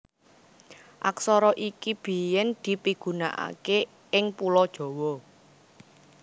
Aksara iki biyèn dipigunakaké ing Pulo Jawa